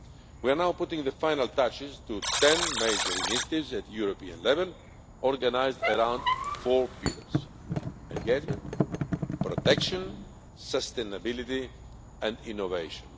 We are now putting the final touches to ten major initiatives at European level, organised around four pillars engagement, protection, sustainability and innovation.